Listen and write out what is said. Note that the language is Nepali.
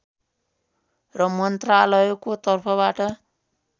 र मन्त्रालयको तर्फबाट